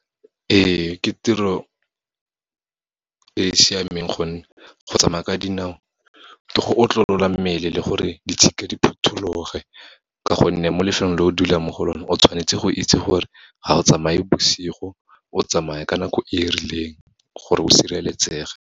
Ee, ke tiro e siameng gonne, go tsamaya ka dinao ke go otlolola mmele le gore ditshika di phuthologe, ka gonne mo lefelong le o dulang mo go lone, o tshwanetse go itse gore ga o tsamaye bosigo, o tsamaya ka nako e rileng, gore o sireletsege.